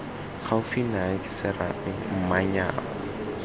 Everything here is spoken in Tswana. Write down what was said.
gaufi nae ke serame manyako